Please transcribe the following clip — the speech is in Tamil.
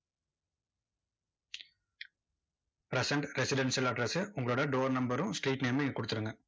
present residential address உ உங்களோட door number ரும் street name மும் இங்க கொடுத்துருங்க.